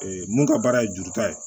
mun ka baara ye juruta ye